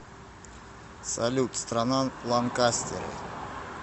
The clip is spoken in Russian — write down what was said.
салют страна ланкастеры